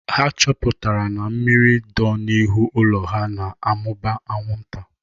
Ha chọpụtara na mmiri dọ n'ihu ụlọ ha na-amụba anwụnta.